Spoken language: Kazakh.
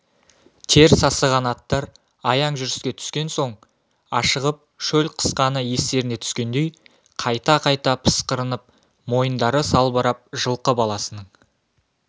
тер сасыған аттар аяң жүріске түскен соң ашығып шөл қысқаны естеріне түскендей қайта-қайта пысқырынып мойындары салбырап жылқы баласының